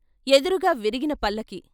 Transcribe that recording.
ఎదురుగా విరిగినపల్లకీ.